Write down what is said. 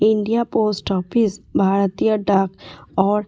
India post office भारतिय डाक ओर--